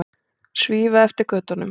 Svífa eftir götunum.